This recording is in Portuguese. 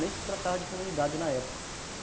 Nem se tratava de comunidade na época.